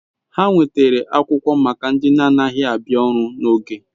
Ha nwetara akwukwo maka ndi na anaghi abia oru n'oge